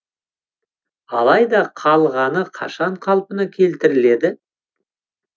алайда қалғаны қашан қалпына келтіріледі